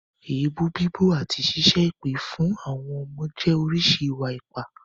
Èébú bíbú àti ṣíṣẹ́ èpè fún àwọn ọmọ jẹ́ oríṣi ìwà-ipá.